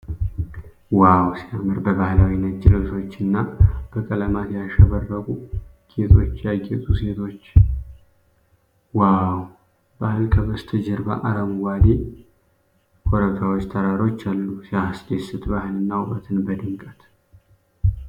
ዋው ሲያምር! በባህላዊ ነጭ ልብሶች እና በቀለማት ያሸበረቁ ጌጦች ያጌጡ ሴቶች። ዋው ባህል ከበስተጀርባ አረንጓዴ ኮረብታዎችና ተራሮች አሉ። ሲያስደስት! ባህልና ውበትን በድምቀት።